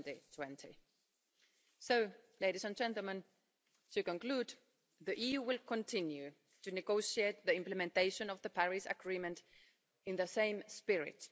2020. So, ladies and gentlemen, to conclude, the EU will continue to negotiate the implementation of the Paris Agreement in the same spirit.